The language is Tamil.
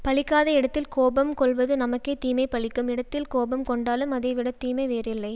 பலிக்காத இடத்தில் கோபம் கொள்வது நமக்கே தீமை பலிக்கும் இடத்தில் கோபம் கொண்டாலும் அதை விட தீமை வேறு இல்லை